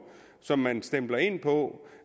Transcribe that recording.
som man stempler ind på